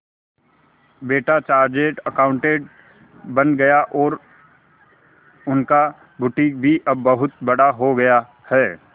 बेटा chartered accountant बन गया और उनका बुटीक भी अब बहुत बड़ा हो गया है